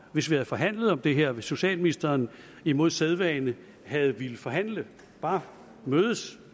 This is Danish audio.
hvis vi havde forhandlet om det her hvis socialministeren imod sædvane havde villet forhandle bare mødes